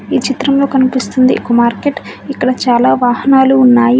ఈ చిత్రంలో కనిపిస్తుంది ఒక మార్కెట్ . ఇక్కడ చాలా వాహనాలు ఉన్నాయి.